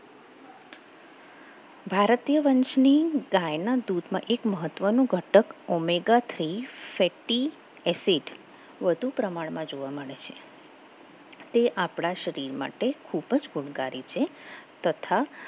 ભારતીય વંશની ગાય ગાયના દૂધમાં મહત્વનું ઘટક omega three fatty acid વધુ પ્રમાણમાં જોવા મળે છે તે આપણા શરીર માટે ખૂબ જ ગુણકારી છે તથા